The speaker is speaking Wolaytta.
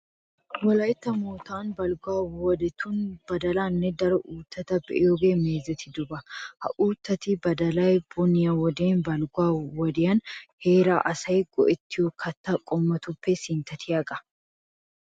Wolaytta moottan balgguwa wodetun badalaanne daro uuttaa be'iyogee meezetidoba. Ha Uuttaynne badalay boniyaninne balgguwan heeraa asay go"ettiyo kattaa qommotuppe sinttatiyageeta.